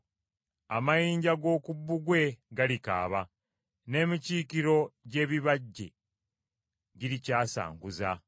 Amayinja g’oku bbugwe galikaaba, n’emikiikiro gy’ebibajje girikyasanguza.